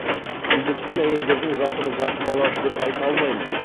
індеттен әйелдердің жатыры зақым алады деп айта алмаймын